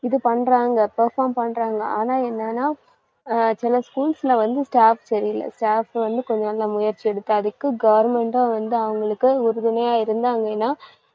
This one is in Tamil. இது பண்றாங்க perform பண்றாங்க. ஆனா என்னென்னா அஹ் சில schools ல வந்து staff சரியில்ல. staff வந்து கொஞ்சம் முயற்சி எடுத்தாதிக்கும், government உம் வந்து அவங்களுக்கு உறுதுணையா இருந்தாங்கன்னா